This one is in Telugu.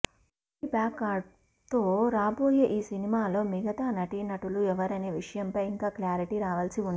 కబడ్డీ బ్యాక్డ్రాప్తో రాబోయే ఈ సినిమాలో మిగతా నటీనటులు ఎవరనే విషయంపై ఇంకా క్లారిటీ రావాల్సి ఉంది